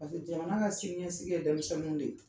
jamana ka siniɲɛsigi ye denmisɛnninw de ye